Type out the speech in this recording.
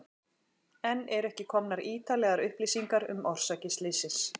Enn eru ekki komnar ítarlegar upplýsingar um orsakir slyssins.